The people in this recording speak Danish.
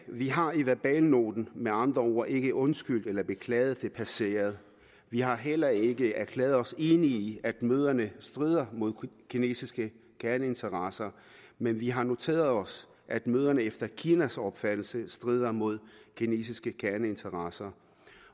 vi har i verbalnoten med andre ord ikke undskyldt eller beklaget det passerede vi har heller ikke erklæret os enige i at møderne strider mod kinesiske kerneinteresser men vi har noteret os at møderne efter kinas opfattelse strider mod kinesiske kerneinteresser